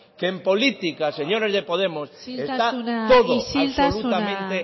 que en política señores de podemos está todo isiltasuna isiltasuna